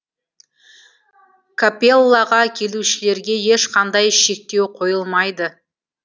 капеллаға келушілерге ешқандай шектеу қойылмайды